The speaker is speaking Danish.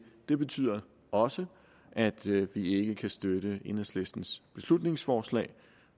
det betyder også at vi ikke kan støtte enhedslistens beslutningsforslag